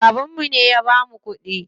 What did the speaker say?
Babanmu ne ya bamu kuɗi.